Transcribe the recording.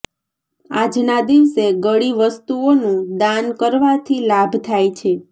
આજના દિવસે ગળી વસ્તુઓનું દાન કરવાથી લાભ થાય છે